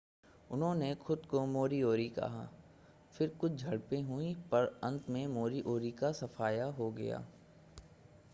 उन्होंने खुद को मोरीओरी कहा फिर कुछ झड़पें हुईं पर अंत में मोरी ओरी का सफाया हो गया